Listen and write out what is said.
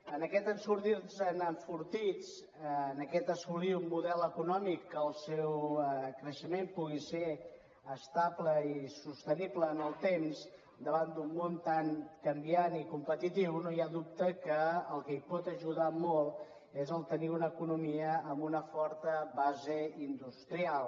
en aquest sortir nos en enfortits en aquest assolir un model econòmic que el seu creixement pugui ser estable i sostenible en el temps davant d’un món tan canviant i competitiu no hi ha dubte que el que hi pot ajudar molt és tenir una economia amb una forta base industrial